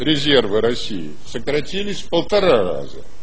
резервы россии сократились в полтора раза